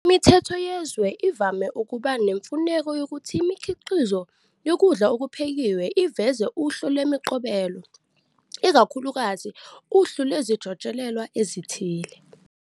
Imithetho yezwe ivame ukuba nemfuneko yokuthi imikhiqizo yokudla ukuphekiwe iveze uhlu lemiqobelo, ikakhulukazi uhlu lezijotshelelwa ezithile.